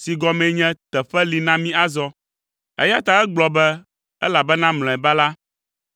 si gɔmee nye “Teƒe Li Na Mí Azɔ.” Eya ta egblɔ be, “Elabena mlɔeba la,